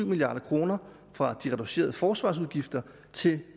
milliard kroner fra de reducerede forsvarsudgifter til